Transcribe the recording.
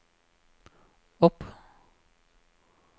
opp